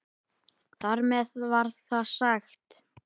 Þar með var það sagt.